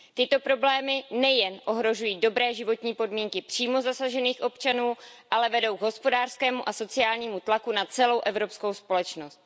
Tyto problémy nejen ohrožují dobré životní podmínky přímo zasažených občanů, ale vedou k hospodářskému a sociálnímu tlaku na celou evropskou společnost.